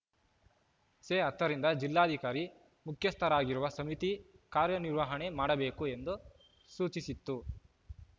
ಸೆ ಹತ್ತರಿಂದ ಜಿಲ್ಲಾಧಿಕಾರಿ ಮುಖ್ಯಸ್ಥರಾಗಿರುವ ಸಮಿತಿ ಕಾರ್ಯನಿರ್ವಹಣೆ ಮಾಡಬೇಕು ಎಂದು ಸೂಚಿಸಿತ್ತು